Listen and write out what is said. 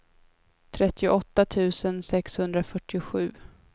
trettioåtta tusen sexhundrafyrtiosju